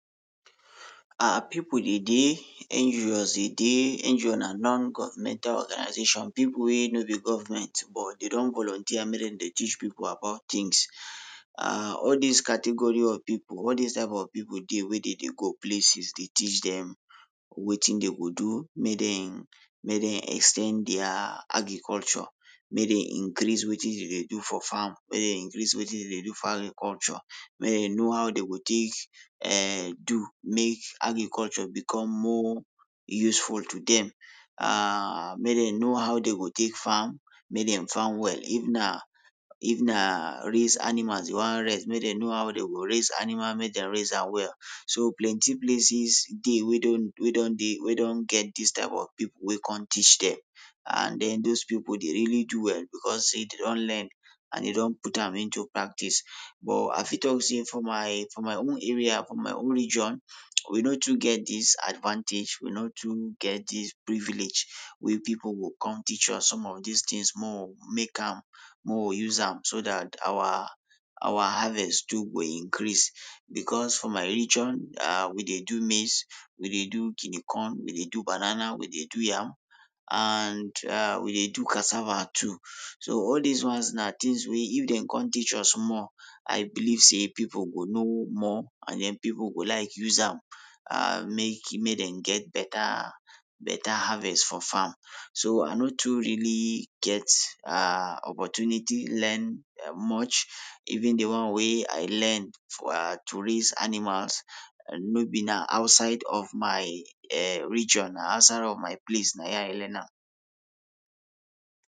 our People dey dey dey dey na non governmental organization people wey no be government but they don volunteer make dem dey teach people about things. um all these category of people all dis type of people dey wey dey dey go places they teach them wetin dey go do make dem may dem ex ten d their agriculture. Make dem increase wetin dem dey do for farm. make dem increase wetin dey dey do for agriculture. May dey know how dey go take um do make agriculture become more useful to them. um Make dem know how dey go take farm make them farm well if na if na even raise animals you want raise. May dem know how dey go raise animal make them raise am well. So plenty places dey we don we don dey. We don get this type of people wey com teach them. And then those people dey really do well because say dey don learn and they don put am into practice. But i fit talk say for my for my own area, from my own region, we no too get this advantage. We no too get this privilege wey people go come teach us some of these things make we make am, make we use am so that our our harvest too go increase. Because for my region um we dey do maize, we dey do guinea corn. We dey do banana we dey do yam and um we dey do cassava too. So all these ones na things wey if dey con teach us more. I believe say people will know more. And people go like use them am um make make dem get better better harvest for farm. So I no too really get um opportunity learn much even the one wey I learn for um to raise animals no be na outside of my[um] region na outside of my place na im I learn am.